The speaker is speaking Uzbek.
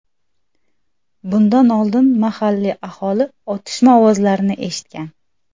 Bundan oldin mahalliy aholi otishma ovozlarini eshitgan.